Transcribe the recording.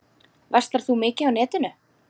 Verslar þú mikið á netinu?